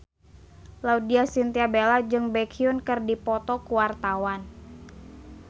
Laudya Chintya Bella jeung Baekhyun keur dipoto ku wartawan